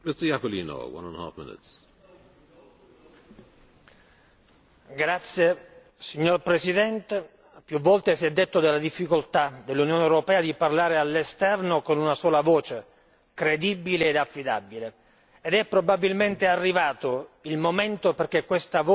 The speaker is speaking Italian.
Signor Presidente, onorevoli colleghi, più volte si è detto della difficoltà dell'Unione europea di parlare all'esterno con una sola voce credibile e affidabile ed è probabilmente arrivato il momento in cui questa voce signora Commissario Reding l'Unione europea la faccia finalmente valere.